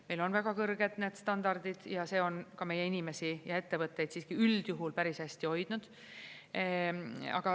Meil on väga kõrged need standardid ja see on ka meie inimesi ja ettevõtteid siiski üldjuhul päris hästi hoidnud.